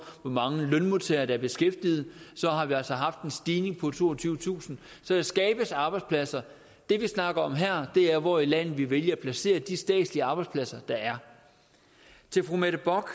hvor mange lønmodtagere der er beskæftiget har vi altså haft en stigning på toogtyvetusind så der skabes arbejdspladser det vi snakker om her er hvor i landet vi vælger at placere de statslige arbejdspladser der er til fru mette bock